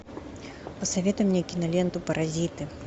посоветуй мне киноленту паразиты